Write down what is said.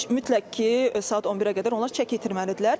Yəni mütləq ki, saat 11-ə qədər onlar çəki itirməlidirlər.